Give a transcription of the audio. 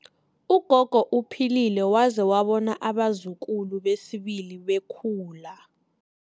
Ugogo uphilile waze wabona abazukulu besibili bekhula.